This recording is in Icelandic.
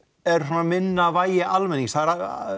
er svona minna vægi almennings það er